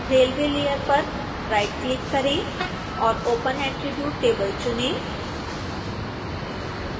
railway layer पर right click करें और open attribute table चुनें